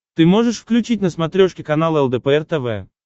ты можешь включить на смотрешке канал лдпр тв